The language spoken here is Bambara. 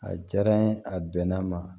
A diyara n ye a bɛnna n ma